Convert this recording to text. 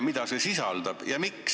Mida see osa sisaldab?